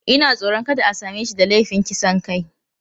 Ina tsoron kada a same shi da laifin kisan kai.